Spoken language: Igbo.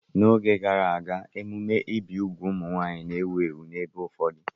N'oge gara aga, emume ibi úgwù ụmụ nwaanyị na-ewu ewu n'ebe ụfọdụ.